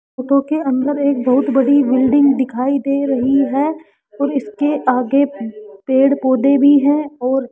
photo के अंदर एक बहुत बड़ी बिल्डिंग दिखाई दे रही है और इसके आगे पेड़ पौधे भी हैं और --